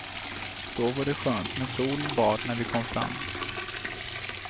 Då var det skönt med sol och bad när vi kom fram.